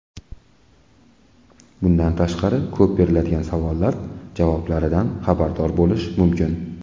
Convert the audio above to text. Bundan tashqari, ko‘p beriladigan savollar javoblaridan xabardor bo‘lish mumkin.